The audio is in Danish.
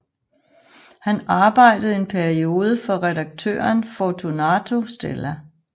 Han arbejdede en periode for redaktøren Fortunato Stella